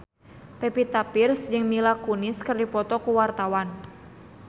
Pevita Pearce jeung Mila Kunis keur dipoto ku wartawan